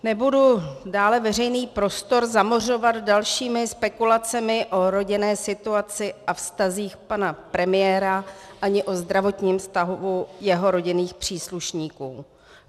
Nebudu dále veřejný prostor zamořovat dalšími spekulacemi o rodinné situaci a vztazích pana premiéra ani o zdravotním stavu jeho rodinných příslušníků.